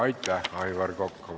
Aitäh, Aivar Kokk!